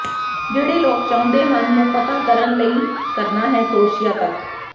ਜਿਹੜੇ ਲੋਕ ਚਾਹੁੰਦੇ ਹਨ ਨੂੰ ਪਤਾ ਕਰਨ ਲਈ ਲਈ ਕਰਨਾ ਹੈ ਕਰੋਸ਼ੀਆ ਤੱਕ